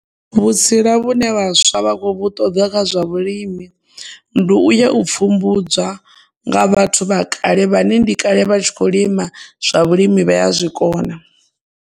Vhutsila vhune vhaswa vha khou ṱoḓa kha zwa vhulimi ndi u ya u pfhumbudza nga vhathu vha kale vhane ndi kale vha tshi kho lima zwa vhulimi vha ya zwikona.